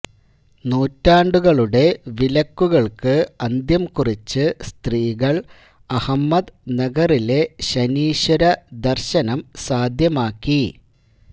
നൂറ്റാണ്ടുകളുടെ വിലക്കുകൾക്ക് അന്ത്യം കുറിച്ച് സ്ത്രീകൾ അഹമ്മദ് നഗറിലെ ശനീശ്വര ദർശനം സാധ്യമാക്കി